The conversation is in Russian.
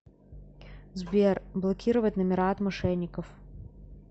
сбер блокировать номера от мошенников